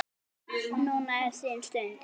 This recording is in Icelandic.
Núna er þín stund.